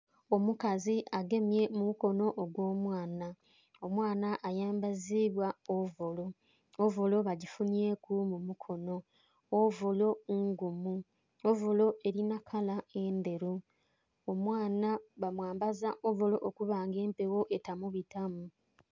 Omukazi agemye omukono ogw'omwana, omwana ayambazibwa ovolo, ovolo bagisibyeku mumukono, ovolo ngumu, ovolo erina kala endheru. Omwana bamwambaza ovolo okubanga empewo etamubitamu.